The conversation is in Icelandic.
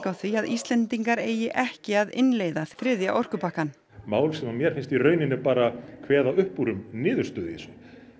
á því að Íslendingar eigi ekki að innleiða þriðja orkupakkann mál sem mér finnst reyndar bara kveða upp úr um niðurstöðu í þessu